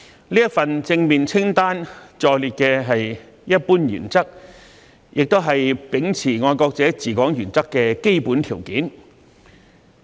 這份正面清單載列的是一般原則，也是秉持"愛國者治港"原則的基本條件。